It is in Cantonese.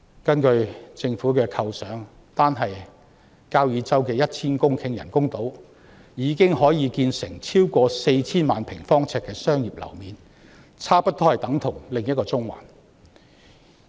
根據政府的構想，單是交椅洲的 1,000 公頃人工島已經可以建成超過 4,000 萬平方呎的商業樓面，差不多等同另一個中環。